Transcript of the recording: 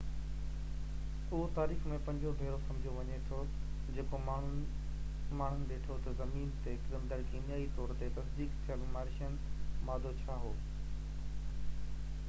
اهو تاريخ ۾ پنجون ڀيرو سمجهو وڃي ٿو جيڪو ماڻهن ڏٺو ته زمين تي ڪرندڙ ڪيميائي طور تي تصديق ٿيل مارشين مادو ڇا هو